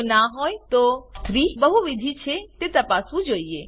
જો ના હોય તો 3 બહુવિધ છે તે તપાસવું જોઈએ